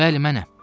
Bəli, mənəm.